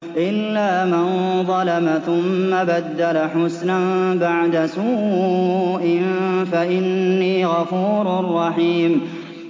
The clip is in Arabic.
إِلَّا مَن ظَلَمَ ثُمَّ بَدَّلَ حُسْنًا بَعْدَ سُوءٍ فَإِنِّي غَفُورٌ رَّحِيمٌ